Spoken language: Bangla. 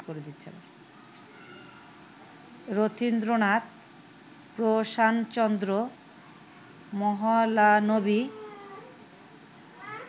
রথীন্দ্রনাথ, প্রশান চন্দ্র মহলানবি